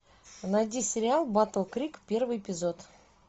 найди сериал батл крик первый эпизод